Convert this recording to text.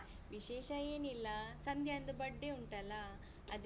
ವಿಶೇಷ ಏನಿಲ್ಲ ಸಂಧ್ಯಂದು birthday ಉಂಟಲ್ಲ ಅದಿಕ್ಕೆ.